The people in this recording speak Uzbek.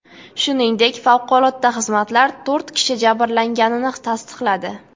Shuningdek, favqulodda xizmatlar to‘rt kishi jabrlanganini tasdiqladi.